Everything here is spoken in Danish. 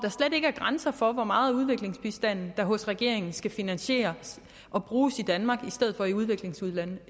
ikke er grænser for hvor meget udviklingsbistand der hos regeringen skal finansieres og bruges i danmark i stedet for i udviklingslande